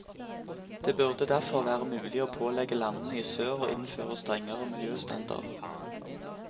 Det burde derfor være mulig å pålegge landene i sør å innføre strengere miljøstandarder.